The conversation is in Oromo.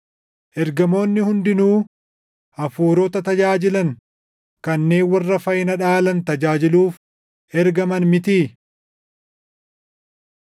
Ergamoonni hundinuu hafuurota tajaajilan kanneen warra fayyina dhaalan tajaajiluuf ergaman mitii?